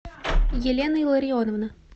елена илларионовна